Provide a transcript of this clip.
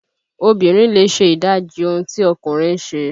Obìnrin lè ṣe ìdájì ohun tí ọkùnrin ń ṣe